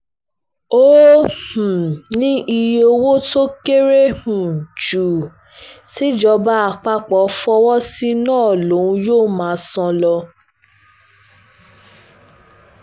ó um ní iye owó tó kéré um ju tìjọba àpapọ̀ fọwọ́ sí náà lòun yóò máa san lọ